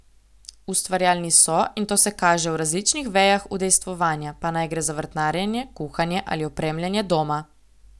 Ustvarjalni so, in to se kaže v različnih vejah udejstvovanja, pa naj gre za vrtnarjenje, kuhanje ali opremljanje doma.